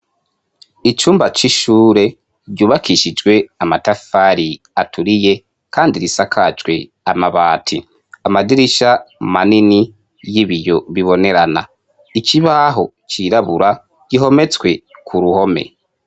icumba c'ishure ryubakishijwe amatafari aturiye kandi risakajwe amabati amadirisha manini y'ibiyo bibonerana ikibaho cirabura gihometswe ku ruhome